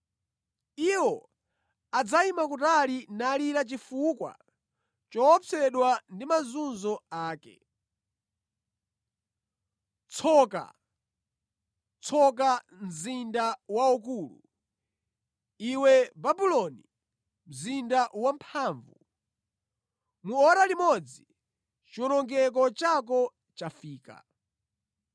Iwo adzayima kutali nalira chifukwa choopsedwa ndi mazunzo ake. “ ‘Tsoka! Tsoka mzinda waukulu iwe, Babuloni mzinda wamphamvu! Mu ora limodzi chiwonongeko chako chafika!’